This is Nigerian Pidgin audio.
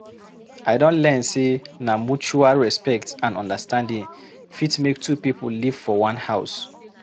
I don learn sey na mutual respect and understanding fit make two pipo live for one house.